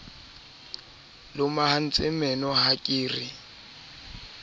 lomahantse meno ha ke re